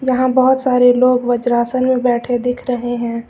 यहां बहोत सारे लोग वज्रासन में बैठे दिख रहे हैं।